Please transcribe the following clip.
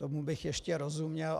Tomu bych ještě rozuměl.